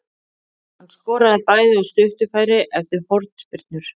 Hann skoraði bæði af stuttu færi eftir hornspyrnur.